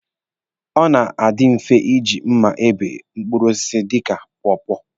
Ọ na-adi mfe iji mma ebe mkpụrụ osisi dịka pọọpọọ.